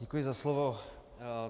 Děkuji za slovo.